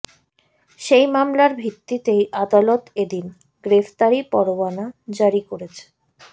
সেই মামলার ভিত্তিতেই আদালত এদিন গ্রেফতারি পরোয়ানা জারি করেছে